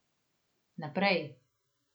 Naprej.